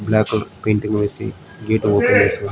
black gate open చేసి--